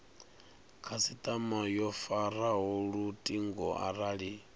khasitama yo faraho lutingo arali